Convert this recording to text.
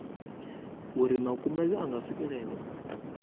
uri makumedzwa a nga swikelelwa